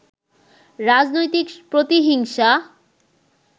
রাজনৈতিক প্রতিহিংসা